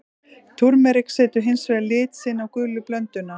Túrmerik setur hins vegar lit sinn á gulu blönduna.